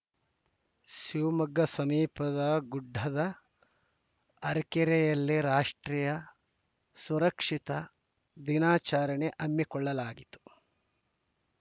ಶಿವಮೊಗ್ಗ ಸಮೀಪದ ಗುಡ್ಡದ ಹರಕೆರೆಯಲ್ಲಿ ರಾಷ್ಟ್ರೀಯ ಸುರಕ್ಷಿತಾ ದಿನಾಚರಣೆ ಹಮ್ಮಿಕೊಳ್ಳಲಾಗಿತ್ತು